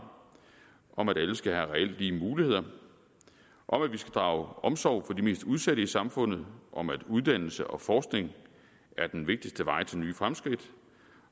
om at alle skal have reelt lige muligheder om at vi skal drage omsorg for de mest udsatte i samfundet om at uddannelse og forskning er den vigtigste vej til nye fremskridt